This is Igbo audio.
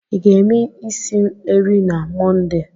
Ị ga-eme isi eri na Monde?